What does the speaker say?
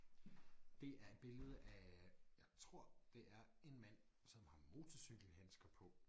Det er et billede af jeg tror det er en mand som har motorcykelhandsker på